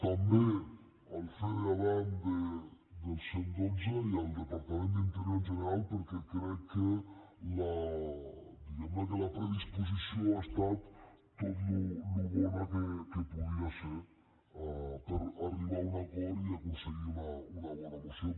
també al fede adan del cent i dotze i al departament d’interior en general perquè crec que diguem ne la predisposició ha estat tan bona com podia ser per arribar a un acord i aconseguir una bona moció